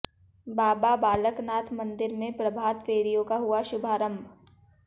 बाबा बालक नाथ मन्दिर में प्रभात फेरियों का हुआ शुभारंभ